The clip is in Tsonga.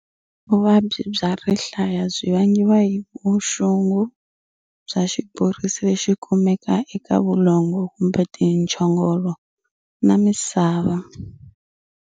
Vuvabyi bya rihlaya byi vangiwa hi vuxungu bya xiborisi lexi kumeka eka vulongo kumbe tintshogolo na misava.